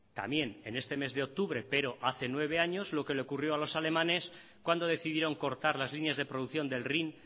también en este mes de octubre pero hace nueve años lo que le ocurrió a los alemanes cuando decidieron cortar las líneas de producción del rin